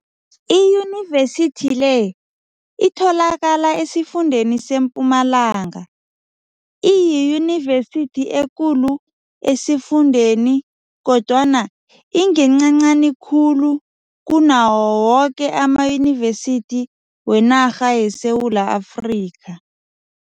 Iyunivesithi le itholakala esifundeni seMpumalanga, iyiyunivesithi ekulu esifundeni kodwana ingencancani khulu kunawo woke amayunivesithi wenarha yeSewula Afrika.